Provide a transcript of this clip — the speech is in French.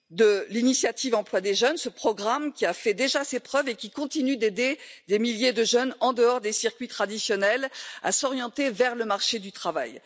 D'abord, l'avenir de l'initiative pour l'emploi des jeunes, ce programme qui a déjà fait ses preuves et qui continue d'aider des milliers de jeunes en dehors des circuits traditionnels à s'orienter vers le marché du travail.